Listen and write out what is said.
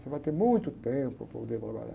Você vai ter muito tempo para poder trabalhar.